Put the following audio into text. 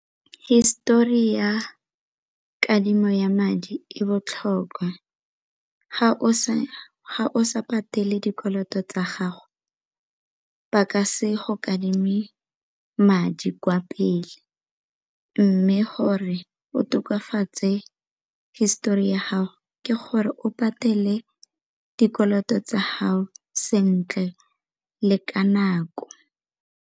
Hisetori ya kadimo ya madi e botlhokwa, ga o sa patele dikoloto tsa gago ba ka se go kadime madi di kwa pele mme gore o tokafatse hisetori ya gago ke gore o patele dikoloto tsa gago sentle le ka nako.